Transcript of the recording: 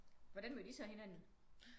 Hvordan mødte i så hinanden?